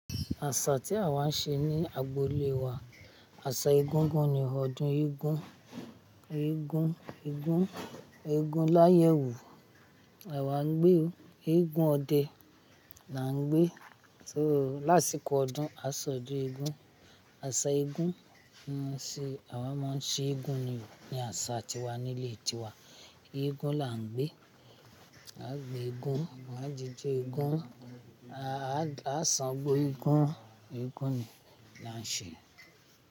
Àṣà tí àwa ń ṣe ní agboolé wa, àṣà egúngún ni. Ọdún eégún, eégún, eégún, eégún láyé wú àwa ń gbé o. Eégún ọdẹ là ń gbé. So lásìkò ọdún a sọdún eégún. Aṣa eégún, ń ṣe àwa máa ń ṣe eégún ni, ní àṣà tiwa nílé tiwa. Eégún là ń gbé. A gbé eégún, eégún àjèjì eégún. A san gbo eégún, eégún ni là ń ṣe.